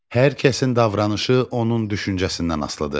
Hər kəsin davranışı onun düşüncəsindən asılıdır.